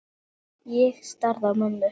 Ég starði á mömmu.